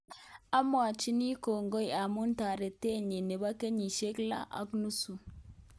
Amwachini kongoi amu taretet nyi nebo kenyisyek lo ak nusu